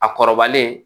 A kɔrɔbalen